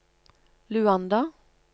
Luanda